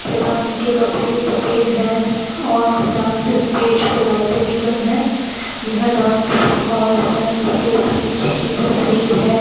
तथा इनके कपड़े सफेद हैं और डांस स्टेज पे लाइटें भी काम है यह डांस परफॉर्मेंस के बीच की तस्वीर है।